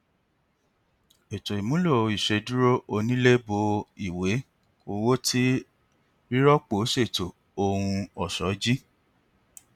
eto imulo iṣeduro onile bo iye owo ti rirọpo ṣeto ohun ọṣọ ji